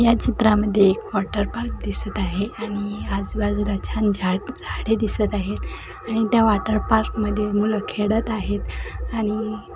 या चीत्रमध्ये एक वांटर पार्क दिसत आहे आणि आजूबाजूला छान झाडे दिसत आहे आणि त्या वॉटर पार्कमध्ये मुल खेळत आहे आणि --